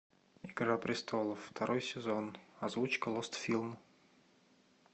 игра престолов второй сезон озвучка лостфилм